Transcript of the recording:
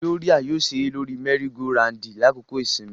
Gloria yoo ṣere lori mẹri-go-randi lakoko isinmi.